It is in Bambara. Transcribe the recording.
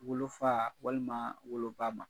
Wolofa walima woloba ma